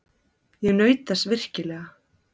Ég naut þess virkilega.